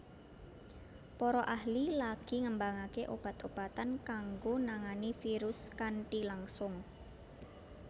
Para ahli lagi ngembangake obat obatan kanggo nangani virus kanthi langsung